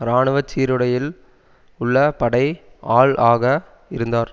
இராணுவ சீருடையில் உள்ள படை ஆள் ஆக இருந்தார்